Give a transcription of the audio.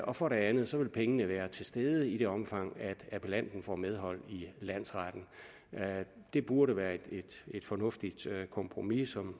og for det andet vil pengene være til stede i det omfang appellanten får medhold i landsretten det burde være et fornuftigt kompromis som